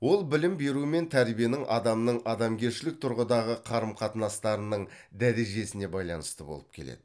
ол білім беру мен тәрбиенің адамның адамгершілік тұрғыдағы қарым қатынастарының дәрежесіне байланысты болып келеді